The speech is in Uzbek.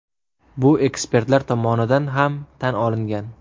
Bu ekspertlar tomonidan ham tan olingan.